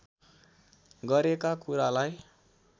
गरेका कुरालाई